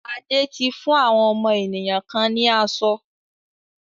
Ade ti fún àwọn ènìyàn kan ni aṣọ?